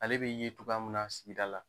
Ale be cogoya min na sigida la.